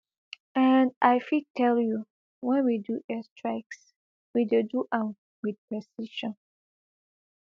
and i fit tell you wen we do airstrikes we dey do am wit precision